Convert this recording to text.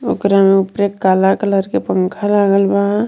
ओकरा में उपरे काला कलर के पंखा लागल बा.